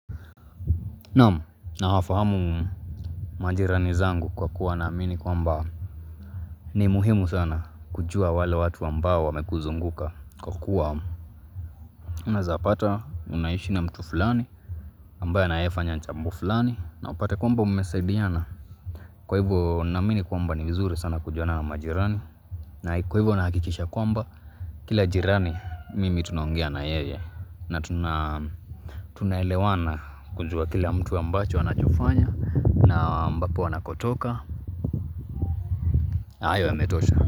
Naam nawafahamu majirani zangu kwa kuwa na amini kwamba ni muhimu sana kujua wale watu ambao wamekuzunguka kwa kuwa Una zapata unaishi na mtu fulani ambaye anayefanya jambo fulani na upate kwa mba umesaidiana Kwa hivyo na amini kwamba ni uzuri sana kujua na na majirani na kwa hivyo nahakikisha kwamba Kila jirani mimi tunaongea na yeye na tuna elewana kujua kila mtu ambacho wanachofanya na ambapo wanakotoka ayo yametosha.